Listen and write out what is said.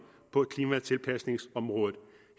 på klimatilpasningsområdet